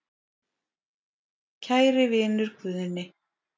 Kæri vinur Guðni.